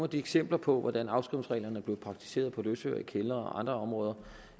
de eksempler på hvordan afskrivningsreglerne er blevet praktiseret på løsøre i kældre og andre områder